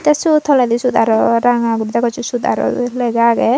tey sot toledi sot arw ranga guri degossey sot arw lega agey.